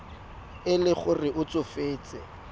e le gore o tsofetse